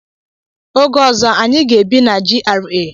Oge ọzọ, anyị ga-ebi na GRA.